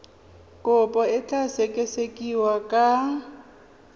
kopo e tla sekasekiwa ka